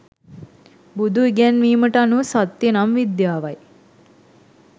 බුදු ඉගැන්වීමට අනුව සත්‍ය නම් විද්‍යාවයි.